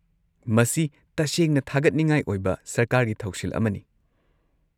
ꯃꯁꯤ ꯇꯁꯦꯡꯅ ꯊꯥꯒꯠꯅꯤꯡꯉꯥꯏ ꯑꯣꯏꯕ ꯁꯔꯀꯥꯔꯒꯤ ꯊꯧꯁꯤꯜ ꯑꯃꯅꯤ꯫